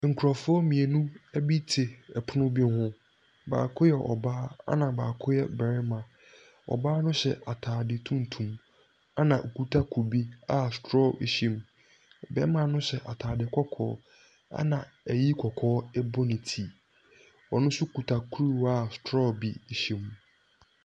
Nkorɔfoɔ mmienu bi te ɛpono bi ho, baako yɛ ɔbaa ɛna baako yɛ barima. Ɔbaa no hyɛ ataade tuntum ɛna ɔkuta kube a strɔɔ bi hyɛm, bɛɛma no hyɛ ataade kɔkɔɔ ɛna ayi kɔkɔɔ ɛbɔ ne ti, ɔno nso kuta kruwa a strɔɔ bi hyɛm.